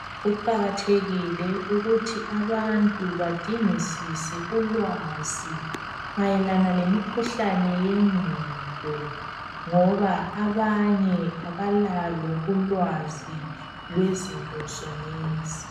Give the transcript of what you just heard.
Kuqakathekile ukuthi abantu badingisise ulwazi mayelana lemikhuhlane yengqondo, ngoba abanye abalalo ulwazi lwezinto zonezi.